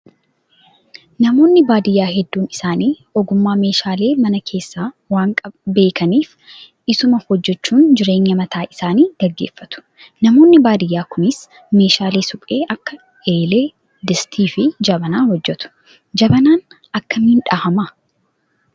Namoonni baadiyyaa hedduun isaanii ogummaa meeshaalee mana keessaa waan beekaniif isuma hojjachuun jireenya mataa isaanii gaggeeffatu. Namoonni baadiyyaa kunis meeshaalee suphee akka eelee, distii fi jabanaa hojjatu. Jabanaan akkamiin dhahamaa?